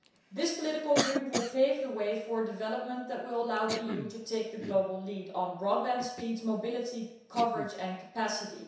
This political agreement will pave the way for a development that will allow the EU to take the global lead on broadband speeds, mobility coverage and capacity.